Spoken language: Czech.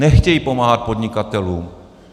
Nechtějí pomáhat podnikatelům.